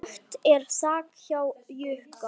Lekt er þak hjá Jukka.